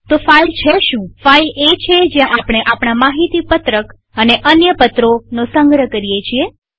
તો ફાઈલ છે શુંફાઈલ એ છે જ્યાં આપણે આપણા માહિતી પત્રકડોક્યુમેન્ટ્સ અને અન્ય પત્રોપેપર્સનો સંગ્રહ કરીએ છીએ